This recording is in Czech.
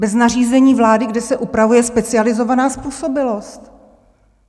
Bez nařízení vlády, kde se upravuje specializovaná způsobilost!